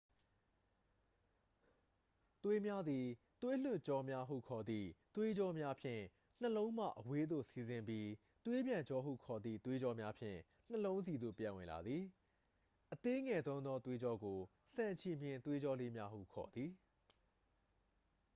သွေးများသည် သွေးလွှတ်ကြောများဟု ခေါ်သည့် သွေးကြောများဖြင့် နှလုံးမှ အဝေးသို့ စီးဆင်းပြီး သွေးပြန်ကြောဟု ခေါ်သည့် သွေးကြောများဖြင့် နှလုံးဆီသို့ ပြန်ဝင်လာသည် အသေးငယ်ဆုံးသောသွေးကြောကို ဆံချည်မျှင်သွေးကြောလေးများဟု ခေါ်သည်